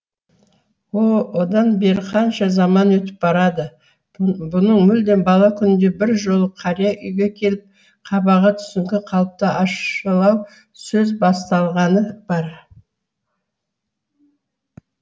о одан бері қанша заман өтіп барады бұның мүлде бала күнінде бір жолы қария үйге келіп қабағы түсіңкі қалыпта ащылау сөз бастағаны бар